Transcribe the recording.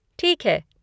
ठीक है।